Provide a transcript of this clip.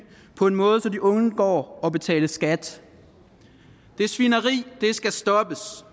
på en måde så de undgår at betale skat det svineri skal stoppes